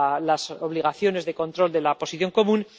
las obligaciones de control de la Posición Común.